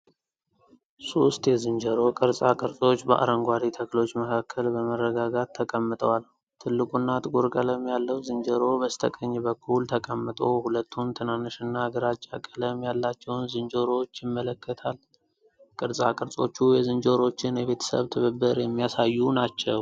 ሦስት የዝንጀሮ ቅርጻ ቅርጾች በአረንጓዴ ተክሎች መካከል በመረጋጋት ተቀምጠዋል። ትልቁና ጥቁር ቀለም ያለው ዝንጀሮ በስተቀኝ በኩል ተቀምጦ ሁለቱን ትናንሽና ግራጫ ቀለም ያላቸውን ዝንጀሮዎች ይመለከታል። ቅርጻ ቅርጾቹ የዝንጀሮዎችን የቤተሰብ ትብብር የሚያሳዩ ናቸው።